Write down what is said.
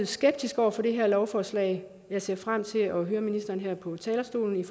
skeptisk over for det her lovforslag jeg ser frem til at høre ministeren på talerstolen